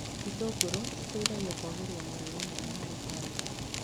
Itũngũrũ cietithagia kwagĩria mũrĩre mwega harĩ bamĩrĩ